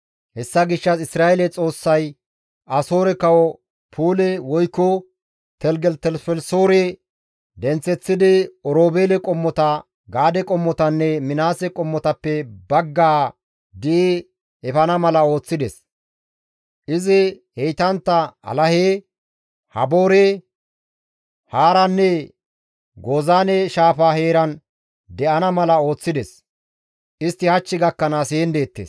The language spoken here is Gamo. Hessa gishshas Isra7eele Xoossay Asoore kawo Puule woykko Teligelitelifelisoore denththeththidi Oroobeele qommota, Gaade qommotanne Minaase qommotappe baggaa di7i efana mala ooththides; izi heytantta Alahe, Haboore, Haaranne Gozaane shaafa heeran de7ana mala ooththides; istti hach gakkanaas heen deettes.